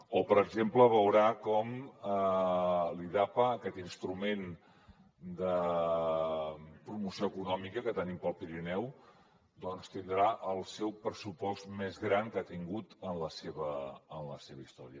o per exemple veurà com l’idapa aquest instrument de promoció econòmica que tenim per al pirineu doncs tindrà el seu pressupost més gran que ha tingut en la seva història